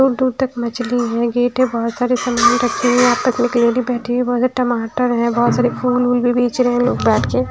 दूर-दूर तक मछली है गेट है बहुत सारे सामान रखें हुए हैं यहाँ पे एक लेडी बैठी हुई बहुत सारे टमाटर है बहुत सारे फूल वूल भी बेच रहे हैं लोग बैठ के।